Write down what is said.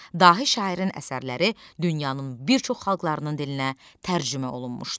Dahir şairin əsərləri dünyanın bir çox xalqlarının dilinə tərcümə olunmuşdu.